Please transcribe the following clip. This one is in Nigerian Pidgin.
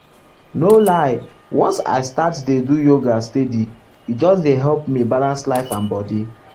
no lie once i start dey do yoga steady e just dey help me balance life and body.